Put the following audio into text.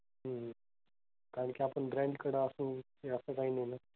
कारण कि आपण branch कडं असू कि असं काही नाही आहे?